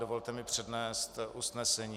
Dovolte mi přednést usnesení:.